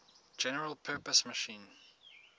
general purpose machine